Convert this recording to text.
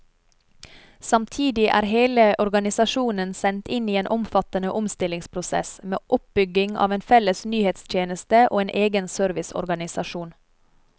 Samtidig er hele organisasjonen sendt inn i en omfattende omstillingsprosess, med oppbygging av en felles nyhetstjeneste og en egen serviceorganisajon.